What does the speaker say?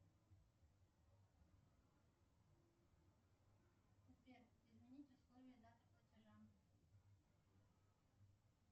сбер изменить условия даты платежа